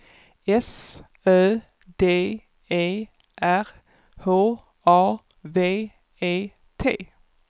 S Ö D E R H A V E T